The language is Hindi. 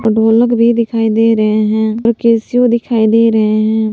ढोलक भी दिखाई दे रहे है कैसिओ दिखाई दे रहे हैं।